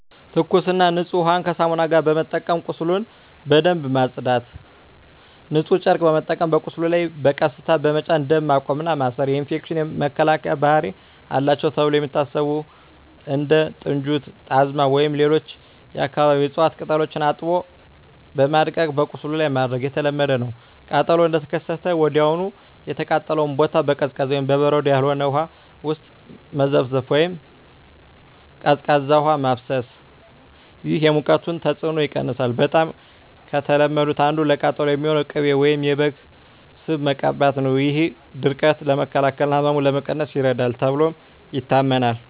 ትኩስና ንጹህ ውሃን ከሳሙና ጋር በመጠቀም ቁስሉን በደንብ ማጽዳት። ንጹህ ጨርቅ በመጠቀም በቁስሉ ላይ በቀስታ በመጫን ደም ማቆም እና ማሰር። የኢንፌክሽን መከላከያ ባህሪ አላቸው ተብለው የሚታሰቡ እንደ ጥንጁት፣ ጣዝማ ወይም ሌሎች የአካባቢው እፅዋት ቅጠሎችን አጥቦ በማድቀቅ በቁስሉ ላይ ማድረግ የተለመደ ነው። ቃጠሎው እንደተከሰተ ወዲያውኑ የተቃጠለውን ቦታ በቀዝቃዛ (በበረዶ ያልሆነ) ውሃ ውስጥ መዘፍዘፍ ወይም ቀዝቃዛ ውሃ ማፍሰስ። ይህ የሙቀቱን ተጽዕኖ ይቀንሳል። በጣም ከተለመዱት አንዱ ለቃጠሎ የሚሆን ቅቤ ወይም የበግ ስብ መቀባት ነው። ይህ ድርቀትን ለመከላከል እና ህመምን ለመቀነስ ይረዳል ተብሎ ይታመናል።